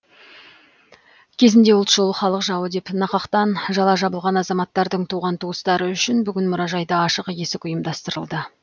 кезінде ұлтшыл халық жауы деп нақақтан жала жабылған азаматтардың туған туыстары үшін бүгін мұражайда ашық есік ұйымдасырылды